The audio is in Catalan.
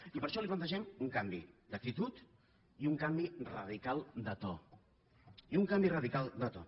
i per això li plantegem un canvi d’actitud i un canvi radical de to i un canvi radical de to